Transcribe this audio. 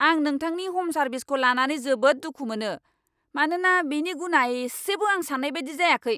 आं नोंथांनि ह'म सार्विसखो लानानै जोबोद दुखु मोनो, मानोना बेनि गुनआ एसेबो आं साननाय बायदि जायाखै।